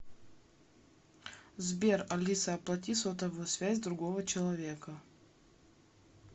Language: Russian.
сбер алиса оплати сотовую связь другого человека